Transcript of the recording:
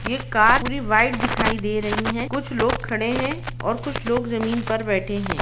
ये कार पुरी व्हाइट दिखाई दे रही है कुछ लोग खड़े हैं और कुछ लोग जमीन पर बैठे हैं।